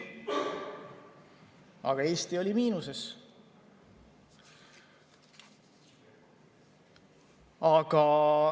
Aga Eesti oli miinuses.